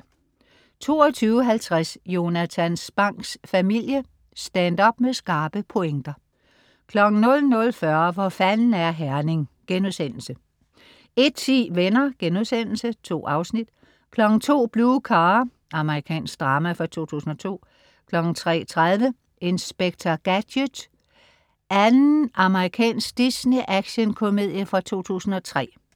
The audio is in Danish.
22.50 Jonatan Spangs Familie. Stand-up med skarpe pointer 00.40 Hvor fanden er Herning?* 01.10 Venner.* 2 afsnit 02.00 Blue Car. Amerikansk drama fra 2002 03.30 Inspector Gadget 2. Amerikansk Disney-actionkomedie fra 2003